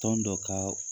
Tɔn dɔ ka